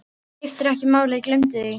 Skiptir ekki máli, gleymdu því.